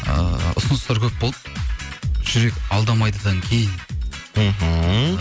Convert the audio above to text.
ыыы ұсыныстар көп болды жүрек алдамайдыдан кейін мхм